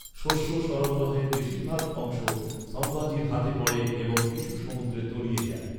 শস্য সরবরাহের বেশিরভাগ অংশ সম্ভাজির হাতে পড়ে এবং কিছু সমুদ্রে তলিয়ে যায়।